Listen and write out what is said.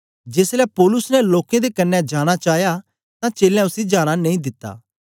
जेसलै पौलुस ने लोकें दे क्न्ने जाना चाया तां चेलें उसी जाना नेई दिता